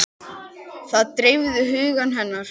Það dreifði huga hennar.